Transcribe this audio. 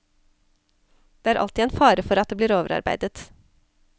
Det er alltid en fare for at det blir overarbeidet.